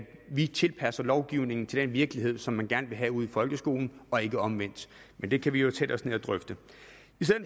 vi tilpasser lovgivningen til den virkelighed som man gerne vil have ude i folkeskolen og ikke omvendt men det kan vi jo sætte os ned og drøfte